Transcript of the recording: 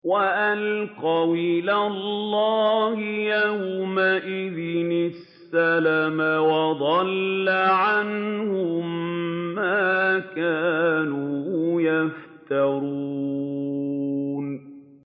وَأَلْقَوْا إِلَى اللَّهِ يَوْمَئِذٍ السَّلَمَ ۖ وَضَلَّ عَنْهُم مَّا كَانُوا يَفْتَرُونَ